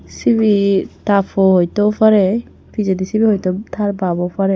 sibey ta po oyto parey pijedi sibey oyto tar bap ow parey.